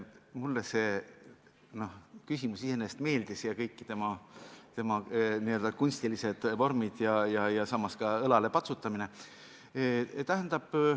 Mulle see küsimus iseenesest meeldis, kõik selle n-ö kunstilised vormid ja ka õlalepatsutamine.